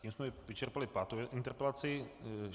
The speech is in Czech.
Tím jsme vyčerpali pátou interpelaci.